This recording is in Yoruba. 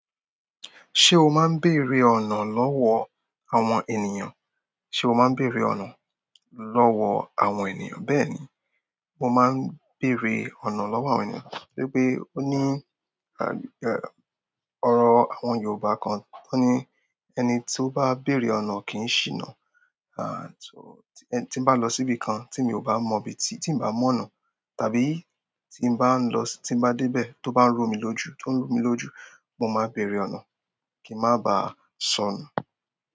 Ṣé o máa ń bèrè ọ̀nà lọ́wọ́ àwọn ènìyàn? Ṣé o máa ń bèrè ọ̀nà lọ́wọ́ àwọn ènìyàn? Bẹ́ẹ̀ni, mo máa ń bèrè ọ̀nà lọ́wọ́ àwọn ènìyàn. Wípé ó ní, a em, ọ̀rọ̀ àwọn Yorùbá kan tó ní: "Ẹni tí ó bá bèrè ọ̀nà kì í ṣìnà". Aà so, tí mo bá lọ síbi kan tí mi ò bá mọ ibi tí, tí n bá mọ̀nà tàbí tí n bá ń lọ si--, tí n bá dé bẹ̀ tó bá ń rú mí lójú, tó ń rú mí lójú, mo máa bèrè ọ̀nà kí ń má ba sọnù.